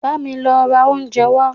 Bámi lọ ra oúnjẹ wá!